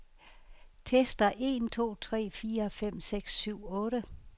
Tester en to tre fire fem seks syv otte.